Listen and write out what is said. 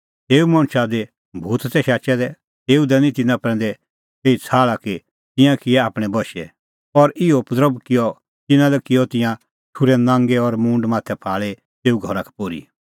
तेऊ मणछा ज़हा दी भूत तै शाचै दै तेऊ दैनी तिन्नां प्रैंदै एही छ़ाहल़ा कि तिंयां किऐ आपणैं बशै और इहअ उपद्रभ किअ तिन्नां लै कि तिंयां ठुर्है नांगै और मूंड माथै फाल़ी तेऊ घरा का पोर्ही